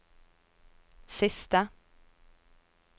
siste